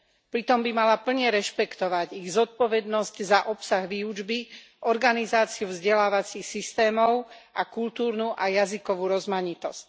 Pritom by mala plne rešpektovať ich zodpovednosť za obsah výučby, organizáciu vzdelávacích systémov a kultúrnu a jazykovú rozmanitosť.